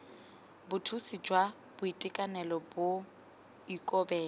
bothusi jwa boitekanelo bo ikobela